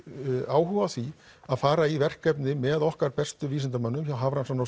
áhuga á því að fara í verkefni með okkar bestu vísindamönnum hjá